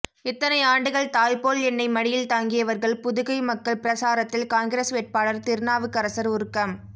இத்தனை ஆண்டுகள் தாய்போல் என்னை மடியில் தாங்கியவர்கள் புதுகை மக்கள் பிரசாரத்தில் காங்கிரஸ் வேட்பாளர் திருநாவுக்கரசர் உருக்கம்